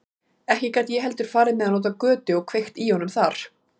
Ekki gat ég heldur farið með hann út á götu og kveikt í honum þar.